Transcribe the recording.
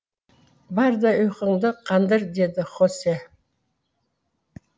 бар да ұйқыңды қандыр дейді хосе